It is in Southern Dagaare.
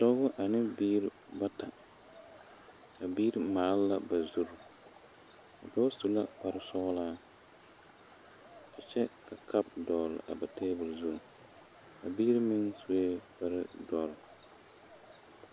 Dɔɔ ane biiri bata, a biiri maale la ba zure a dɔɔ su la kpare sɔgelaa kyɛ ka kaapo dɔgle tabol zu a biiri meŋ sue kpare dɔɔre.